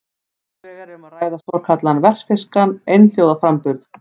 Annars vegar er um að ræða svokallaðan vestfirskan einhljóðaframburð.